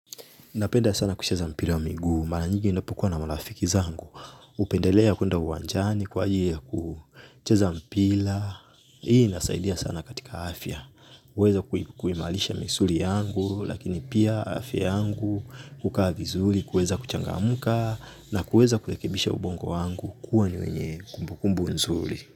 Napenda sana kucheza mpira wa miguu, mara nyingi ninapokuwa na marafiki zangu, hupendelea kwenda uwanjani kwa ajili ya kucheza mpila, hii inasaidia sana katika afya, huweza kuimalisha misuli yangu, lakini pia afya yangu, kukaa vizuli, kueza kuchangamuka, na kueza kurekebisha ubongo wangu, kuwa ni wenye kumbu kumbu nzuri.